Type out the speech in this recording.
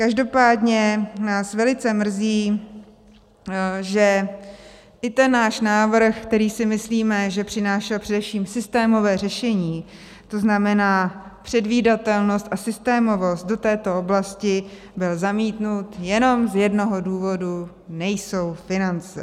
Každopádně nás velice mrzí, že i ten náš návrh, který si myslíme, že přinášel především systémové řešení, to znamená předvídatelnost a systémovost, do této oblasti, byl zamítnut jenom z jednoho důvodu - nejsou finance.